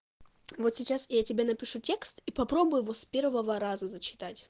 вот сейчас я тебе напишу текст и попробуй его с первого раза зачитать